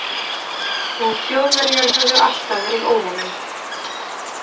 Og Þjóðverjar höfðu alltaf verið óvinurinn.